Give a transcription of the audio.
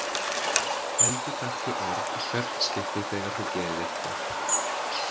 Endurtaktu orð í hvert skipti þegar þú gerir eitthvað.